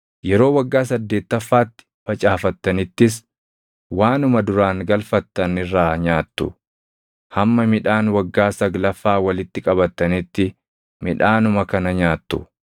Yeroo waggaa saddeettaffaatti facaafattanittis waanuma duraan galfattan irraa nyaattu; hamma midhaan waggaa saglaffaa walitti qabattanitti midhaanuma kana nyaattu.